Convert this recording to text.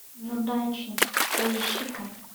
неудачница поищи ка